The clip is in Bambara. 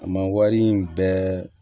A ma wari in bɛɛ